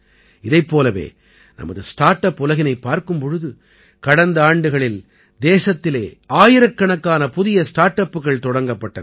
இதைப் போலவே நமது ஸ்டார்ட் அப் உலகினைப் பார்க்கும் பொழுது கடந்த ஆண்டுகளில் தேசத்திலே ஆயிரக்கணக்கான புதிய ஸ்டார்ட் அப்புகள் தொடங்கப்பட்டன